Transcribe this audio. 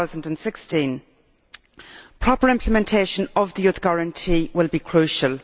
2016. Proper implementation of the Youth Guarantee will be crucial.